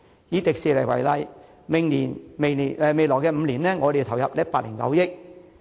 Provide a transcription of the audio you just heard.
以迪士尼為例，未來5年政府要投入109億元。